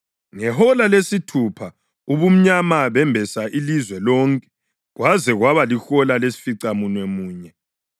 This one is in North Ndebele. Ngehola lesithupha ubumnyama bembesa ilizwe lonke kwaze kwaba lihola lesificamunwemunye.